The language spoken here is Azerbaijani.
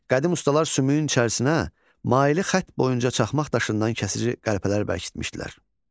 Qədim ustalar sümüyün içərisinə maili xətt boyunca çaxmaq daşından kəsici qəlpələr bərkitmişdilər.